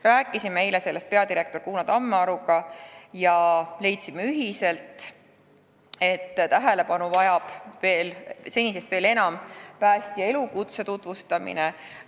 Rääkisime eile sellest peadirektor Kuno Tammearuga ja leidsime ühiselt, et suuremat tähelepanu vajab päästja elukutse tutvustamine.